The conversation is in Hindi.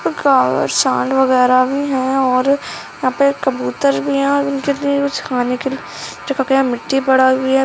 सांड वगेरा भी है और यहाँ पे कबूतर भी है और उनके लिए कुछ खाने के लिए यहाँ पर मिट्टी पड़ी हुई है।